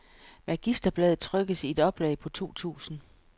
Magisterbladet trykkes i et oplag på to tusind.